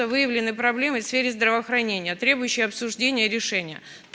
выявлены проблемы в сфере здравоохранения требующие обсуждения и решения